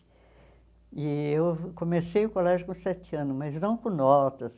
E eu comecei o colégio com sete anos, mas não com notas.